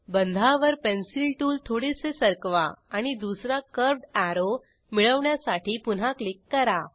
बंधावर pencil tool थोडेसे सरकवा आणि दुसरा कर्व्हड अॅरो मिळवण्यासाठी पुन्हा क्लिक करा